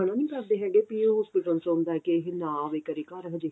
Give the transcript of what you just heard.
ਮਨਾ ਨੀ ਕਰਦੇ ਹੈਗੇ ਕੀ ਵੀ ਇਹ hospital ਆਉਂਦਾ ਕੀ ਇਹ ਨਾ ਆਵੇਂ ਕਰੇ ਘਰ ਹਜੇ